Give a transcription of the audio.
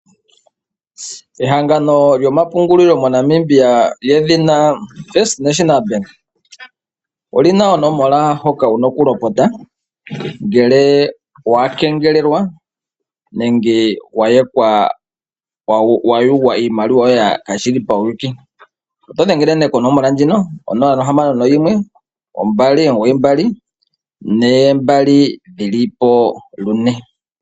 Ehangano lyo mapungulilo mo Namibia lyedhina FNB Olina onomola hoka wuna okulopota ngele wa kengelelwa nenge wa yugwa iimaliwa yoye kashili pawuyuuki . otodhengele nee konomola hoka 061 2992222